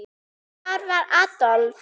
Hvar var Adolf?